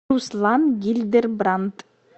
руслан гильдербрант